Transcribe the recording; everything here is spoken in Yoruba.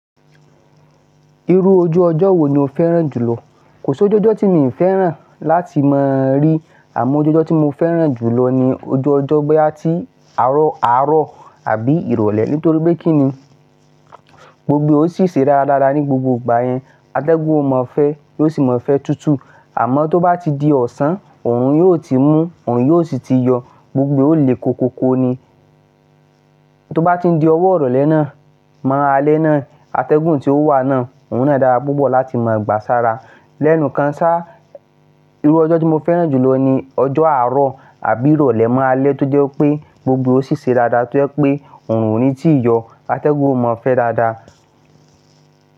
Irú ojú ọjọ́ wo ni o fẹ́ràn jùlọ? Kò sí ojú ọjọ́ tí mi fẹ́ràn láti máa rí àmọ́ ojú ọjọ́ tí mo fẹ́ràn jù lọ ni ojú ọjọ́ bóyá ti àárọ̀ àárọ̀ àbí ìrọ̀lẹ́ nítorí pé kínni gbogbo ẹ ó sì ṣe ara dáadáa ní gbogbo ìgbà yẹn. Atẹ́gùn ó mọ́ fẹ́ yóò sì mọ́ fẹ́ tútù. Àmọ́ tó bá ti di ọ̀sán òrun yóò ti mú òrun yóò sì ti yọ gbogbo ẹ ó le koko ko ni. Tó bá ti di ọwọ́ irọ̀lẹ́ ná, mọ́ alẹ́ náà, atẹ́gùn tí ó wà náà òun náà dára púpọ̀ láti máa gbà sára. Lẹ́nu kan sá, irú ọjọ́ tí mo fẹ́ràn jù lọ ni ọjọ́ àárọ̀ àbí ìrọ̀lẹ́ mọ́ alẹ́ tó jẹ́ wipé gbogbo ẹ ó ṣì ṣe dáadáa tó jẹ́ pé òrun ò ní ti yọ. Atẹ́gùn ó mọ́ fẹ́ dáadáa.